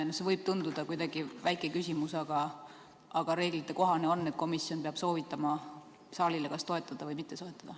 Sest see võib tunduda kuidagi väike küsimus, aga reeglite kohane on, et komisjon peab soovitama saalile, kas toetada või mitte toetada.